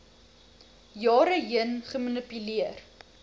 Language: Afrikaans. jare heen gemanipuleer